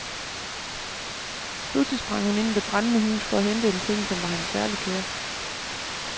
Pludselig sprang hun ind i det brændende hus for at hente en ting, som var hende særlig kær.